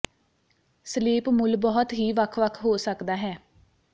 sleep ਮੁੱਲ ਬਹੁਤ ਹੀ ਵੱਖ ਵੱਖ ਹੋ ਸਕਦਾ ਹੈ